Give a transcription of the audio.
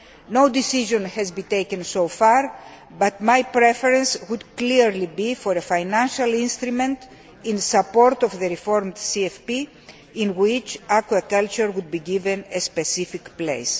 No decision has been taken so far but my preference would clearly be for a financial instrument in support of the reformed CFP, in which aquaculture would be given a specific place.